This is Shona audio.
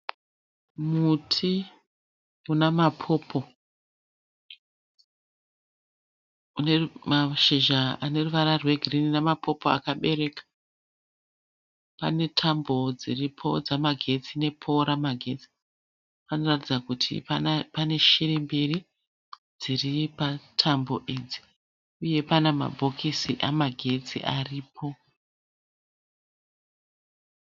Muti unamapopo. Unemashizha aneruvara rwegirinhi nemapopo akabereka. Panetambo dziripo dzamagetsi nepouro ramagetsi. Panoratidza kuti pane shiri mbiri dziri patambo dzemagetsi idzi. Uye pana mabhokisi amagetsi aripo.